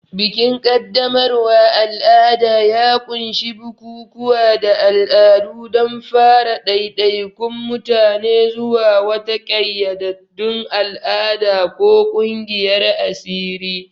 Bikin qaddamarwa al'ada ya ƙunshi bukukuwa da al'adu don fara ɗaiɗaikun mutane zuwa wata ƙayyadaddun al'ada ko ƙungiyar asiri.